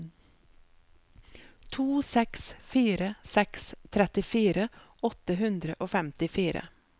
to seks fire seks trettifire åtte hundre og femtifire